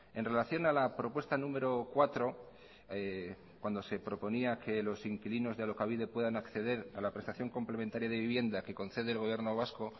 en relación a la propuesta número cuatro cuando se proponía que los inquilinos de alokabide puedan acceder a la prestación complementaria de vivienda que concede el gobierno vasco